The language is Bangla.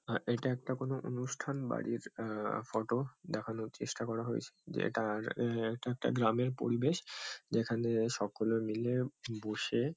আর --এটা একটা কোনো অনুষ্ঠান বাড়ির আ-হ ফটো দেখানোর চেষ্টা করা হয়েছে। যেটার এ এটা একটা গ্রামের পরিবেশ যেখানে সকলে মিলে উ বসে --